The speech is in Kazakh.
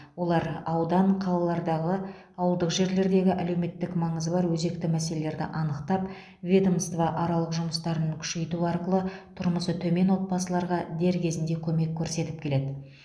олар аудан қалалардағы ауылдық жерлердегі әлеуметтік маңызы бар өзекті мәселелерді анықтап ведомствоаралық жұмыстарын күшейту арқылы тұрмысы төмен отбасыларға дер кезінде көмек көрсетіп келеді